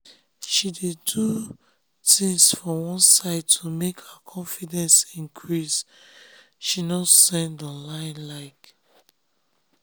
she dey do tins for one side to make her confidence increase she nor send online like.